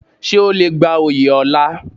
Ṣé o le gba oyè ọlá?